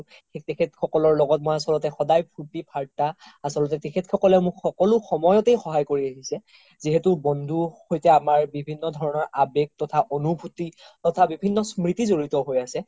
তেখেত সকলৰ লগত মই আচলতে সদাই ফুৰ্তি ফাৰ্তা আচলতে তেখেত সকলে মোক সকলো সময়তে সহায় কৰি আহিছে যিহেতু বন্ধু সৈতে আমাৰ বিভিন্ন ধৰণৰ আমাৰ আবেগ তথা অনোভুতি তথা বিভিন্ন স্ম্ৰিতি জৰিত হৈ আছে